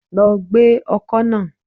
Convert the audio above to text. Lọ gbẹ́ ọkọ́ náà.